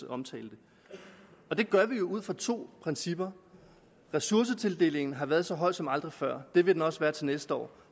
omtalte det gør vi ud fra to principper ressourcetildelingen har været så høj som aldrig før det vil den også være til næste år